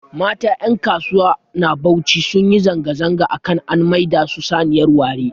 Mata ƴankasuwa na Bauchi sunyi zanga-zanga akan an maida su saniyar ware